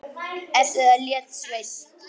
Eftir það lét Sveinn